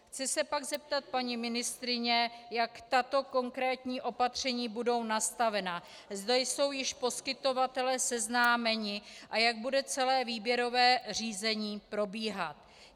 Chci se pak zeptat paní ministryně, jak tato konkrétní opatření budou nastavena, zda jsou již poskytovatelé seznámeni a jak bude celé výběrové řízení probíhat.